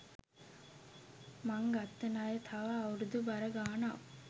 මං ගත්ත ණය තව අවුරුදු බර ගාණක්